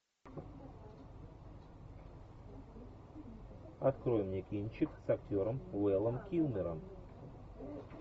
открой мне кинчик с актером вэлом килмером